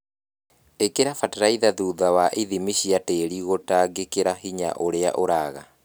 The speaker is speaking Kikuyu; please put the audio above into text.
Ĩkĩra bataraitha thutha wa ithimi cia tĩri gũtangĩkĩra hinya ũria ũraga